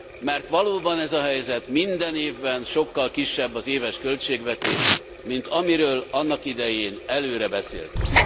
Mert valóban ez a helyzet minden évben sokkal kisebb az éves költségvetés, mint amiről annak idején előre beszéltünk.